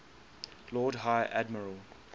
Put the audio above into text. lord high admiral